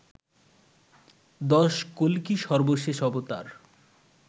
১০. কল্কি সর্বশেষ অবতার